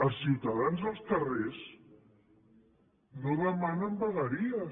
els ciutadans als carrers no demanen vegueries